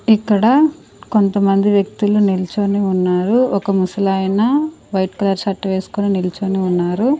ఇక్కడ కొంతమంది వ్యక్తులు నిలుచొని ఉన్నారు ఒక ముసలాయిన వైట్ కలర్ షర్ట్ వేసుకొని నిలుచొని ఉన్నారు.